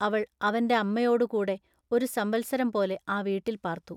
അവൾ അവന്റെ അമ്മയോടു കൂടെ ഒരു സംവത്സരം പോലെ ആ വീട്ടിൽ പാൎത്തു.